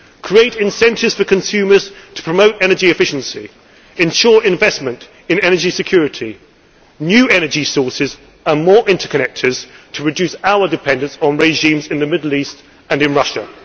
in it create incentives for consumers to promote energy efficiency, and ensure investment in energy security, new energy sources and more interconnectors to reduce our dependence on regimes in the Middle East and Russia.